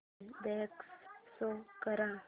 inbox show कर